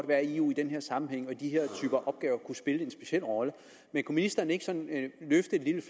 være at eu i den her sammenhæng og i de her typer opgaver kunne spille en speciel rolle men kunne ministeren ikke sådan løfte